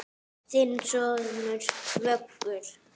Þinn sonur, Vöggur.